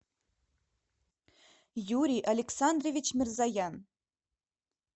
юрий александрович мирзоян